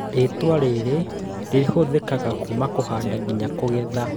Rĩtwa rĩrĩ rĩhũthĩkaga kuma kũhanda nginya kũgetha